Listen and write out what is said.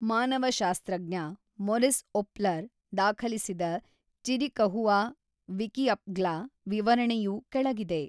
ಮಾನವಶಾಸ್ತ್ರಜ್ಞ Morris Opler ದಾಖಲಿಸಿದ Chiricahua ವಿಕಿಅಪ್ಗ್ಲ ವಿವರಣೆಯು ಕೆಳಗಿದೆ